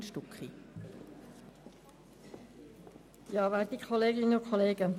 Kommissionssprecherin der FiKo-Minderheit.